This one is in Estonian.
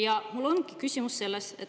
Ja mul ongi küsimus.